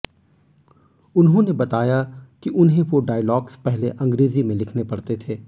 उन्होंने बताया कि उन्हें वो डायलॉग्स पहले अंग्रेजी में लिखने पड़ते थे